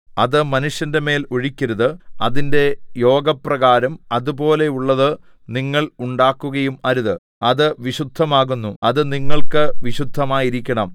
അത് മനുഷ്യന്റെമേൽ ഒഴിക്കരുത് അതിന്റെ യോഗപ്രകാരം അതുപോലെയുള്ളത് നിങ്ങൾ ഉണ്ടാക്കുകയും അരുത് അത് വിശുദ്ധമാകുന്നു അത് നിങ്ങൾക്ക് വിശുദ്ധമായിരിക്കണം